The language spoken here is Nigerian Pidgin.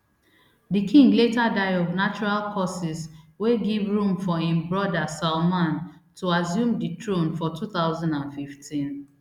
di king later die of natural causes wey give room for im brother salman to assume di throne for two thousand and fifteen